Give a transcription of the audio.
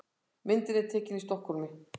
Myndin er tekin í Stokkhólmi.